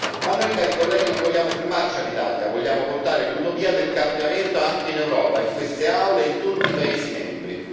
Ma noi, cari colleghi, non vogliamo fermarci all'Italia, vogliamo portare l'utopia del cambiamento anche in Europa, in queste aule, in tutti i Paesi membri.